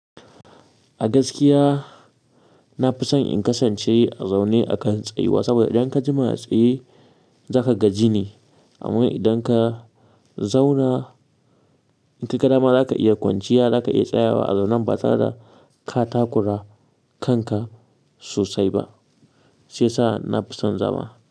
A gaskiya na fi son in kasance a zaune a kan tsayuwa saboda idan ka jima a tsaye za ka gaji ne. Amma idan ka zauna in ka ƙarama za ka iya kwanciya, za ka iya tsayawa a zaunan ba tsada katakura kanka sosai ba. Sai sa'a na fi son zama.